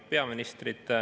Lugupeetud peaminister!